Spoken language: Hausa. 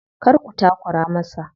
Kar su takura masa.